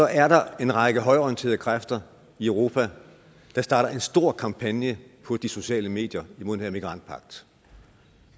er der en række højreorienterede kræfter i europa der starter en stor kampagne på de sociale medier imod den her migrantpagt